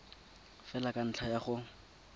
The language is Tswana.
fela ka ntlha ya go